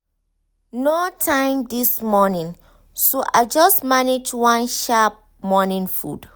no time this morning so i just manage one sharp morning food.